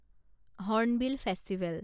hornbill festival